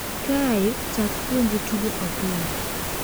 Kae, chak puonje tugo opira.